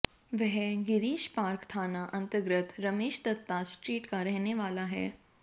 वह गिरीश पार्क थाना अंतर्गत रमेश दत्ता स्ट्रीट का रहने वाला है